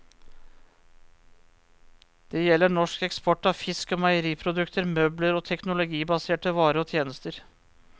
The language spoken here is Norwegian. Det gjelder norsk eksport av fisk og meieriprodukter, møbler og teknologibaserte varer og tjenester.